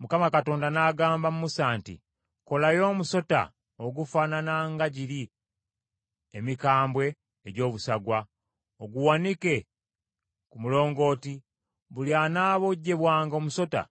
Mukama Katonda n’agamba Musa nti, “Kolayo omusota ogufaanana nga giri emikambwe egy’obusagwa oguwanike ku mulongooti; buli anaabojjebwanga omusota,